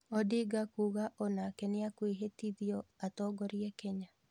Odinga kuga onake nĩekũĩhĩtithio atongorie Kenya.